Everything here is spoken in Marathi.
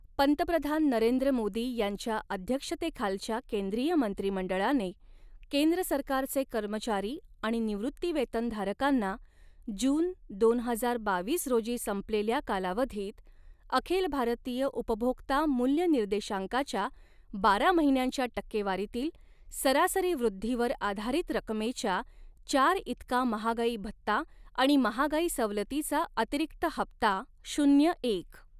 पंतप्रधान नरेंद्र मोदी यांच्या अध्यक्षतेखालच्या केंद्रीय मंत्रिमंडळाने, केंद्र सरकारचे कर्मचारी आणि निवृत्तीवेतनधारकांना, जून दोन हजार बावीस रोजी संपलेल्या कालावधीत, अखिल भारतीय उपभोक्ता मूल्य निर्देशांकाच्या, बारा महिन्यांच्या टक्केवारीतील, सरासरी वृद्धीवर आधारित रकमेच्या चार इतका महागाई भत्ता आणि महागाई सवलतीचा अतिरिक्त हप्ता शून्य एक.